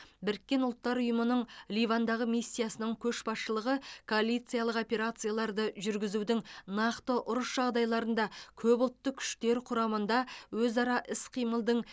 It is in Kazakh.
біріккен ұлттар ұйымының ливандағы миссиясының көшбасшылығы коалициялық операцияларды жүргізудің нақты ұрыс жағдайларында көпұлтты күштер құрамында өзара іс қимылдың